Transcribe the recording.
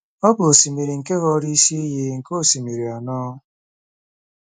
Ọ bụ osimiri nke ghọrọ isi iyi nke osimiri anọ.